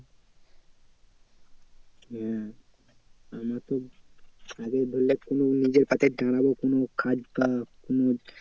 হ্যাঁ আমাকে ধরলে কোনো নিজের পাতে দাঁড়াবো কোনো কাজ